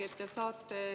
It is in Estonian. Evelin Poolamets, palun!